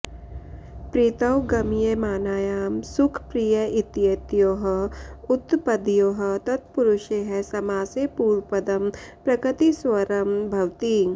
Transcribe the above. प्रीतौ गमयमानायां सुख प्रिय इत्येतयोः उत्तपदयोः तत्पुरुषे समासे पूर्वपदं प्रकृतिस्वरं भवति